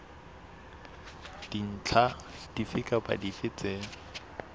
dintlha dife kapa dife tse